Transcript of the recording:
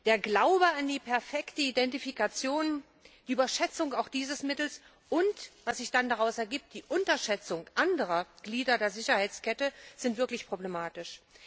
Der Glaube an die perfekte Identifikation, die Überschätzung auch dieses Mittels und was sich somit daraus ergibt die Unterschätzung anderer Glieder der Sicherheitskette sind wirklich problematisch.